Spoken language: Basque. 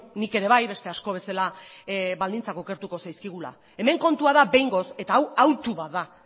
nik ere bai beste asko bezala baldintzak okertuko zaizkigula hemen kontua da behingoz eta hau autu bat da